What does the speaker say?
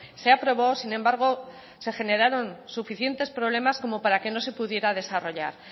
se aprobó sin embargo se generaron suficientes problemas como para que no se pudiera desarrollar